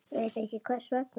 Ekki veit ég hvers vegna.